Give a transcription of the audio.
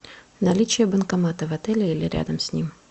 наличие банкомата в отеле или рядом с ним